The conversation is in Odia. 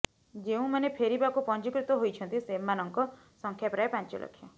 ଯେଉଁମାନେ ଫେରିବାକୁ ପଞ୍ଜିକୃତ ହୋଇଛନ୍ତି ସେମାନଙ୍କ ସଂଖ୍ୟା ପ୍ରାୟ ପାଞ୍ଚଲକ୍ଷ